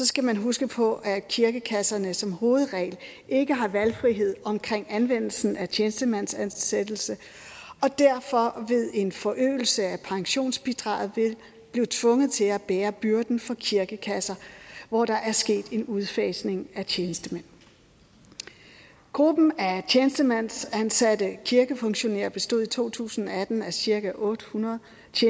skal man huske på at kirkekasserne som hovedregel ikke har valgfrihed om anvendelsen af tjenestemandsansættelse og derfor ved en forøgelse af pensionsbidraget vil blive tvunget til at bære byrden for de kirkekasser hvor der er sket en udfasning af tjenestemænd gruppen af tjenestemændsansatte kirkefunktionærer bestod i to tusind og atten af cirka otte hundrede